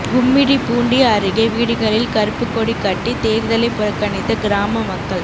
கும்மிடிப்பூண்டி அருகே வீடுகளில் கறுப்புக்கொடி கட்டி தேர்தலை புறக்கணித்த கிராம மக்கள்